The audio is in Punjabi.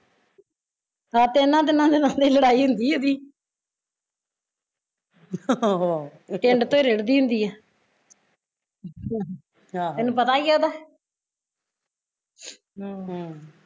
ਸਾਤੇ ਇਹਨਾਂ ਦਿਨਾ ਚ ਤਾਂ ਨੀ ਲੜਾਈ ਹੁੰਦੀ ਏਹਦੀ ਟਿੰਡ ਤੇ ਰਿੜਦੀ ਹੁੰਦੀ ਐ ਤੈਨੂ ਪਤਾ ਈ ਇਹਦਾ ਹਮ